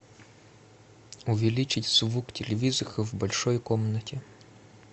увеличить звук телевизора в большой комнате